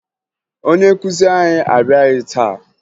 Onye nkụzi anyị abịaghị taa